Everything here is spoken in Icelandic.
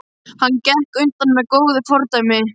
Hann gekk á undan með góðu fordæmi.